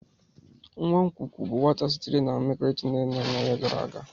Nwa nkwụkwụ bụ nwata sitere na mmekọrịta nne na nna gara aga.